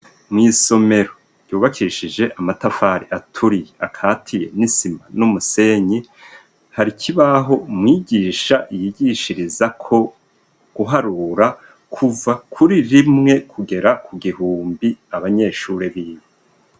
Mw'isomero ryubakishije amatafari aturiye akatiye n'isima n'umusenyi har'ikibaho mwigisha yigishirizako guharura kuva kuri rimwe kugera kugihumbi abanyeshuri biwe.